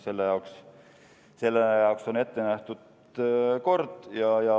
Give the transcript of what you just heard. Selle jaoks on kord ette nähtud.